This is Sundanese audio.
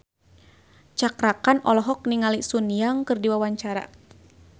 Cakra Khan olohok ningali Sun Yang keur diwawancara